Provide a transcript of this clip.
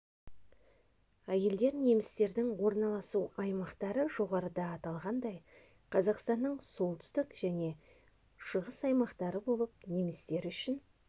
әйелр дер немістердің орналасу аймақтары жоғарыда аталғандай қазақстанның солтүстік және шығыс аймақтары болып немістер үшін